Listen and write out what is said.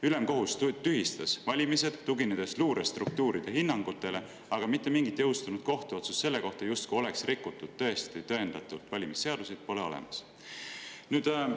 Ülemkohus tühistas valimised, tuginedes luurestruktuuride hinnangutele, aga mitte mingit jõustunud kohtuotsust selle kohta, et tõesti oleks tõendatult rikutud valimisseadusi, pole olemas.